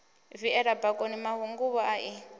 viela bakoni mahunguvhu a i